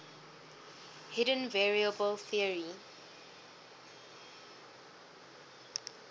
hidden variable theory